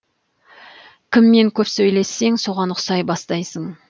кіммен көп сөйлессең соған ұқсай бастайсың